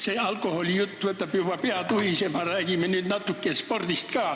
See alkoholijutt paneb juba pea tuhisema, räägime nüüd natuke spordist ka.